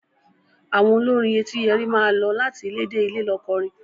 Àwọn olórin Etíyẹrí máa lọ láti ilé dé ilé lọ kọrin.